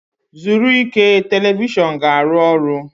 zuru ike, telivishọn ga-arụ ọrụ.